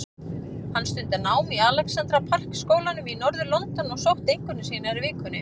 Hann stundar nám í Alexandra Park skólanum í norður-London og sótti einkunnir sínar í vikunni.